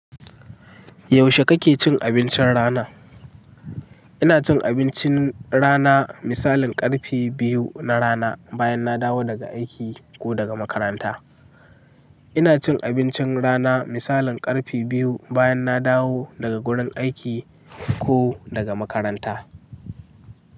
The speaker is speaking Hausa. Yaushe kake cin abincin rana? Ina cin abincin rana misalin karfe biyu na rana bayan na dawo daga aiki ko daga makaranta. Ina cin abincin rana misalin karfe biyu bayan na dawo daga gurin aiki ko daga makaranta.